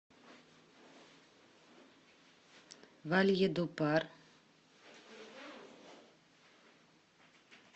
вальедупар